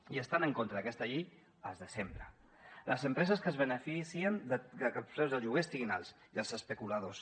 i estan en contra d’aquesta llei els de sempre les empreses que es beneficien de que els preus dels lloguers estiguin alts i els especuladors